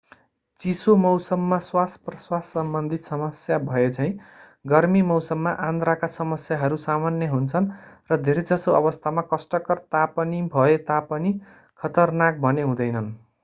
चिसो मौसममा श्वासप्रश्वाससम्बन्धी समस्या भएझैं गर्मी मौसममा आन्द्राका समस्याहरू सामान्य हुन्छन् र धेरै जसो अवस्थामा कष्टकर तापनिभए तापनि खतरनाक भने हुँदैनन्